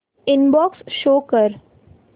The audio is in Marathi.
इनबॉक्स शो कर